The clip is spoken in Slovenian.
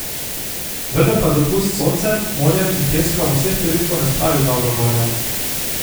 Vendar pa dopust s soncem, morjem in peskom vseh turistov ne spravi v dobro voljo.